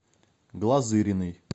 глазыриной